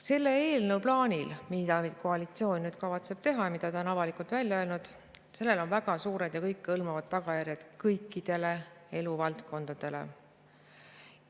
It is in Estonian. Sellel plaanil, mille koalitsioon kavatseb teha ja mida ta on avalikult välja öelnud, on väga suured ja kõikehõlmavad tagajärjed kõikidele eluvaldkondadele.